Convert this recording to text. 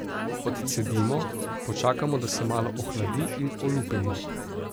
Odcedimo, počakamo, da se malo ohladi in olupimo.